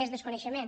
més desconeixement